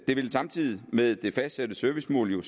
vil samtidig med det fastsatte servicemål jo